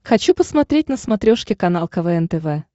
хочу посмотреть на смотрешке канал квн тв